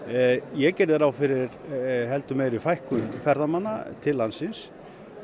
ég gerði ráð fyrir heldur meiri fækkun ferðamanna til landsins